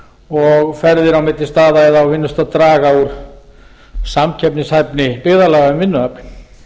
og ferðir á milli staða eða á vinnustað draga úr samkeppnishæfni byggðarlaga um vinnuafl